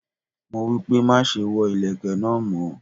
Mo wípé, má ṣe wọ ìlẹ̀kẹ̀ náà mọ́.